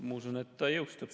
Ma usun, et ta jõustub.